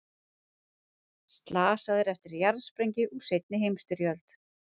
Slasaðir eftir jarðsprengju úr seinni heimsstyrjöld